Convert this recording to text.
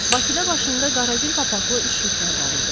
Bakıda başında qara gül papaxlı üçlüklər var idi.